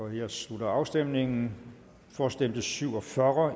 jeg slutter afstemningen for stemte syv og fyrre og